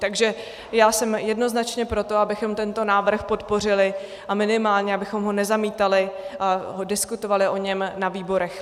Takže já jsem jednoznačně pro to, abychom tento návrh podpořili a minimálně abychom ho nezamítali a diskutovali o něm na výborech.